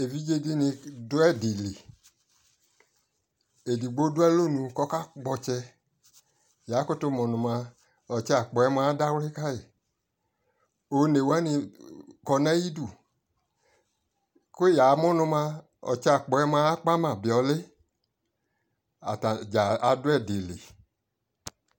ɛvidzɛ dini dʋ ɛdi li, ɛdigbɔ di dʋ alɔnʋ kʋ ɔkakpɔ ɔtsɛ, ya kʋtʋ mʋ nʋ mʋa ɔtsɛ akpɔɛ mʋa adawli kai, ɔnɛ wani kɔnʋ ayidʋ kʋ yamʋ nʋ mʋa ɔkyɛ akpɔɛ mʋa akpama bi ʋli, atani gya adʋ ɛdi li